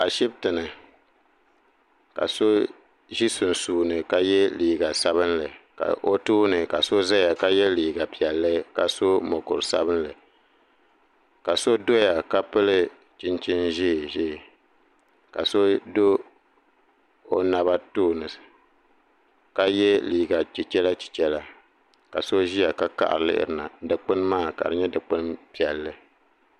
Ashibiti ni ka so zi sunsuuni ka ye liiga sabinli ka o tooni ka so zaya ka ye liiga piɛlli ka so mokuri sabinli ka so doya ka pili chinchini zɛɛ zɛɛ ka so o naba tooni ka ye liiga chichɛra chichɛra ka so ziya ka laɣiri yuuni na dukpuni maa ka di yɛ dukpuni piɛlli.